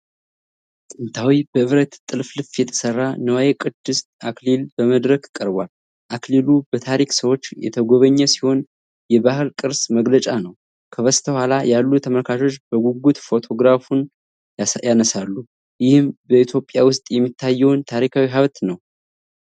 ጥንታዊ፣ በብረት ጥልፍልፍ የተሠራ ንዋየ ቅድስ አክሊል በመድረክ ቀርቧል። አክሊሉ በታሪክ ሰዎች የተጎበኘ ሲሆን የባህል ቅርስ መገለጫ ነው። ከበስተኋላ ያሉ ተመልካቾች በጉጉት ፎቶግራፍ ያነሳሉ። ይህም በኢትዮጵያ ውስጥ የሚታየውን ታሪካዊ ሀብት ነው።